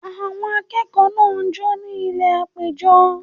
Àwọn akẹ́kọ̀ọ́ náà jó ní ilẹ̀ àpéjọ